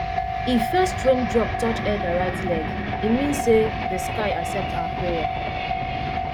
if first rain drop touch elder right leg e mean say the sky accept our prayer